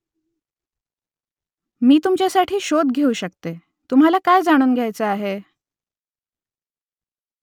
मी तुमच्यासाठी शोध घेऊ शकते . तुम्हाला काय जाणून घ्यायचं आहे ?